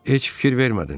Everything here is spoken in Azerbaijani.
Heç fikir vermədin?